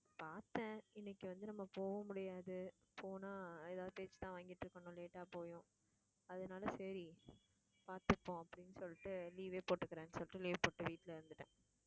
பார்த்தேன் இன்னைக்கு வந்து நம்ம போக முடியாது போனா ஏதாவது பேச்சுதான் வாங்கிட்டு இருக்கணும் late ஆ போயும். அதனால சரி பாத்துப்போம் அப்படின்னு சொல்லிட்டு leave ஏ போட்டுக்கிறேன்னு சொல்லிட்டு leave போட்டு வீட்டுல இருந்துட்டேன்.